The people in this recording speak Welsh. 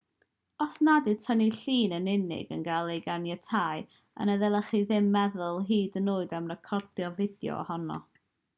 os nad yw tynnu llun yn unig yn cael ei ganiatáu yna ddylech chi ddim meddwl hyd yn oed am recordio fideo ohono